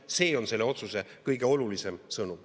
See on selle otsuse kõige olulisem sõnum.